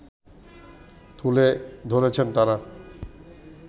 তুলে ধরেছেন তারা